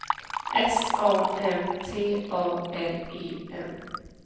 S A M T A L E N